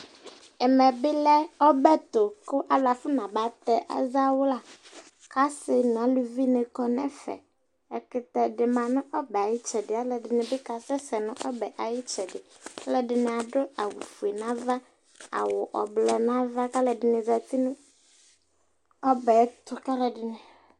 ɛmɛ bɩ lɛ ɔbɛ ɛtʊ kʊ alʊ afɔ naba tɛ azawla, kʊ asi nʊ aluvinɩ kɔ nʊ ɛfɛ, ɛkʊtɛ dɩ ma nʊ ɔbɛ yɛ ayʊ itsɛdɩ, alʊɛdɩnɩ bɩ kasɛ sɛ nʊ ɔbɛ yɛ ayʊ itsɛdɩ, alʊɛdɩnɩ adʊ awʊfue n'ava, awʊ avavlitsɛ n'ava, kʊ alʊɛdɩnɩ zati nʊ ɔbɛ yɛ ɛtʊ